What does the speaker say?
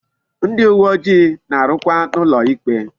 Ndi uwe ojii na-arukwa n'ulo ikpe